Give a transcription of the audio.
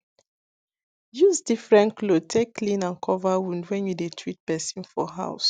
use different cloth take clean and cover wound when you dey treat person for house